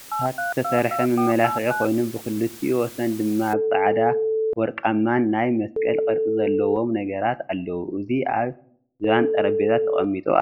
ብደቀቅቲ ዕቂታት ዝተሰርሐ መመላክዒ ኮይኑ ብክልቲኡ ወሰን ድማ ብፃዕዳን ወርቃማን ናይ መስቀል ቅርፂ ዘለዎም ነገራት አለዉ፡፡ እዚ አብ ዝባን ጠረጴዛ ተቀሚጡ አሎ፡፡